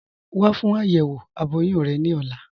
Wà fún ayéwo abọ̀yún rẹ ni ọ̀là.